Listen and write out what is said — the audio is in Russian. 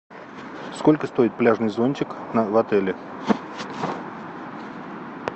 сколько стоит пляжный зонтик в отеле